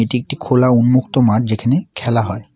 এটি একটি খোলা উন্মুক্ত মাঠ যেখানে খেলা হয়।